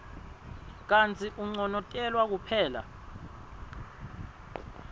kantsi unconotelwa kuphela